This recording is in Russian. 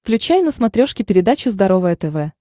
включай на смотрешке передачу здоровое тв